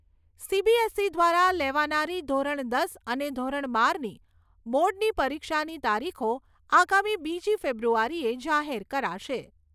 CBSE દ્વારા લેવાનારી ધોરણ દસ અને ધોરણ બારની બોર્ડની પરિક્ષાની તારીખો આગામી બીજી ફેબ્રુઆરીએ જાહેર કરાશે.